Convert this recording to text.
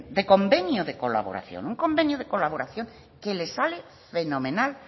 de convenio de colaboración un convenio de colaboración que le sale fenomenal